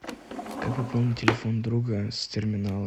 как пополнить телефон друга с терминала